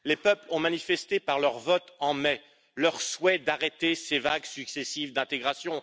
Les peuples ont manifesté par leur vote en mai leur souhait d'arrêter ces vagues successives d'intégration.